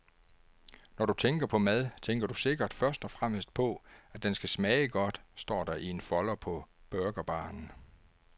Når du tænker på mad, tænker du sikkert først og fremmest på, at den skal smage godt, står der i en folder på burgerbaren.